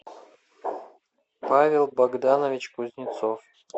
павел богданович кузнецов